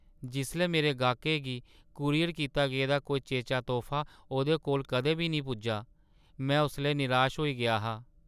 जिसलै मेरे गाह्कै गी कूरियर कीता गेदा कोई चेचा तोह्फा ओह्दे कोल कदें बी नेईं पुज्जा, में उसलै निराश होई गेआ हा ।